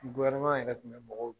Gofɛrɛneman yɛrɛ tun bɛ bɔgɔw